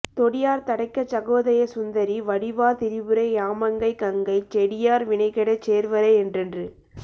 தொடியார் தடக்கைச் சுகோதய சுந்தரி வடிவார் திரிபுரை யாமங்கை கங்கைச் செடியார் வினைகெடச் சேர்வரை என்றென்று